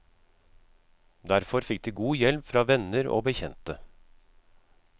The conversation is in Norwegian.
Derfor fikk de god hjelp fra venner og bekjente.